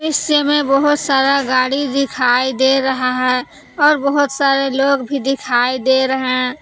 दृश्य में बहुत सारा गाड़ी दिखाई दे रहा है और बहुत सारे लोग दिखाई दे रहे हैं।